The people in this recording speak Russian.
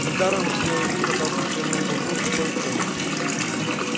не даром же белый клык отдался серому бобру душой и телом